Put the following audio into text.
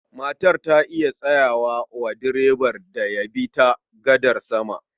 Matar ta yi tsawa wa direban da ya bi ta gadar sama.